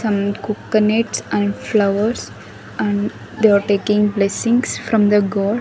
Some coconuts and flowers and they are taking blessings from the god.